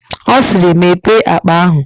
Ọ siiri, Mepee akpa ahụ!